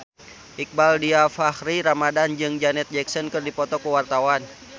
Iqbaal Dhiafakhri Ramadhan jeung Janet Jackson keur dipoto ku wartawan